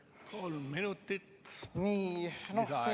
Kolm minutit, palun!